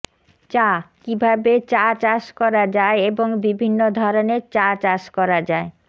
চাঃ কীভাবে চা চাষ করা যায় এবং বিভিন্ন ধরনের চা চাষ করা যায়